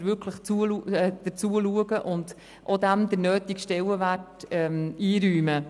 Wir müssen wirklich dazu schauen und ihr den nötigen Stellenwert einräumen.